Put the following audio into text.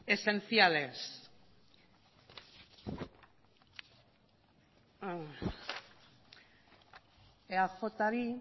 esenciales eajri